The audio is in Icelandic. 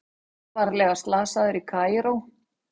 Alvarlega slasaður í Kaíró